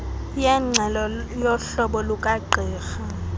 yengxelo yohlolo lukagqirha